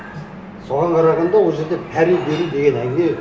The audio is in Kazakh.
соған қарағанда ол жерде пара беру деген әңгіме